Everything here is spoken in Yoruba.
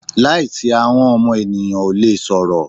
Láìsí ahọ́n ọmọ ènìyàn ò lè sọ̀rọ̀.